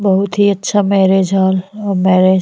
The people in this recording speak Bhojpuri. बहुत ही अच्छा मैरिज हॉल अ मैरिज --